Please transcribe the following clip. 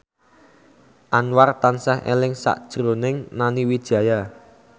Anwar tansah eling sakjroning Nani Wijaya